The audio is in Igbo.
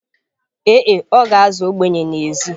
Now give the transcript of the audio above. Ee e, ọ ga-azụ ogbenye n’èzí